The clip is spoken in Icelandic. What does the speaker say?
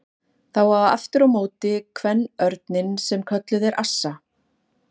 Það á aftur á móti kvenörninn sem kölluð er assa.